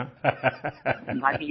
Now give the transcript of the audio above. हाँ हाँ